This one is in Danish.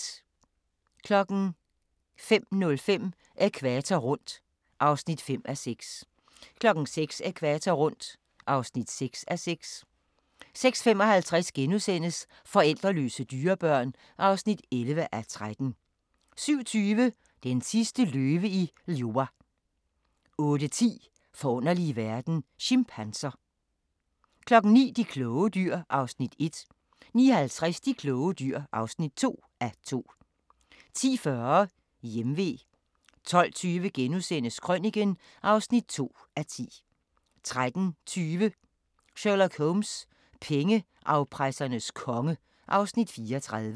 05:05: Ækvator rundt (5:6) 06:00: Ækvator rundt (6:6) 06:55: Forældreløse dyrebørn (11:13)* 07:20: Den sidste løve i Liuwa 08:10: Forunderlige verden – Chimpanser 09:00: De kloge dyr (1:2) 09:50: De kloge dyr (2:2) 10:40: Hjemve 12:20: Krøniken (2:10)* 13:20: Sherlock Holmes: Pengeafpressernes konge (Afs. 34)